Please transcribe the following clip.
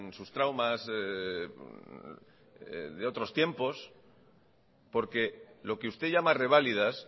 sus traumas de otros tiempos porque lo que usted llama reválidas